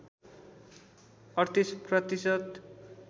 ३८ प्रतिशत